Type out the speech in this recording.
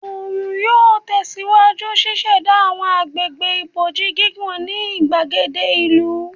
Oorun yoo tẹsiwaju ṣiṣẹda awọn agbegbe iboji gigun ni igbagede ìlú